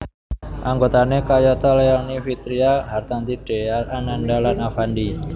Anggotane kayata Leony Vitria Hartanti Dhea Ananda lan Alfandy